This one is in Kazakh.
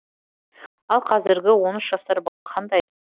ал қазіргі он үш жасар бала қандай